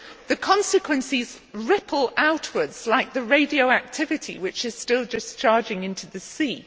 the consequences ripple outwards like the radioactivity which is still discharging into the sea.